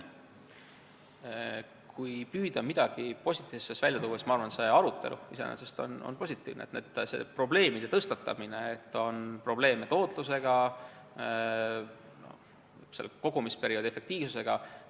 Kui püüda midagi positiivset välja tuua, siis ma arvan, et see arutelu iseenesest on positiivne, probleemide tõstatamine: see, et on probleeme tootlusega, kogumisperioodi efektiivsusega.